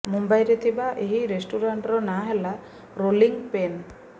ମୁମ୍ବାଇରେ ଥିବା ଏହି ରେଷ୍ଟୁରାଣ୍ଟର ନାଁ ହେଲା ରୋଲିଙ୍ଗ ପେନ୍